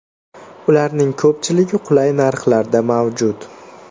Ularning ko‘pchiligi qulay narxlarda mavjud.